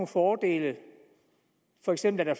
fordele for eksempel at